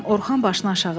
Orxan başını aşağı saldı.